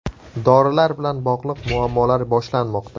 Dorilar bilan bog‘liq muammolar boshlanmoqda.